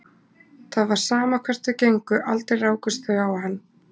Það var sama hvert þau gengu, aldrei rákust þau á hann.